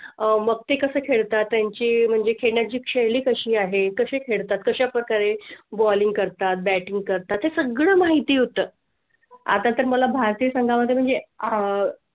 अह मग ते कसं खेळता त्यांची म्हणजे खेळण्या ची शैली कशी आहे, कशी खेळतात, कशाप्रकारे bowling करतात, batting करतात हे सगळं माहिती होतं. आता तर मला भारतीय संघा म्हणजे अह